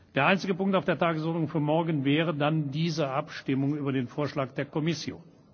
Der einzige Punkt auf der Tagesordnung für morgen wäre dann diese Abstimmung über den Vorschlag der Kommission.